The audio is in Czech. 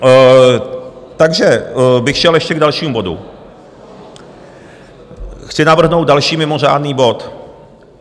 Takže bych šel ještě k dalšímu bodu, chci navrhnout další mimořádný bod.